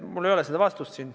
Mul ei ole seda vastust.